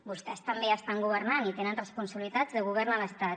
vostès també estan governant i tenen responsabilitats de govern a l’estat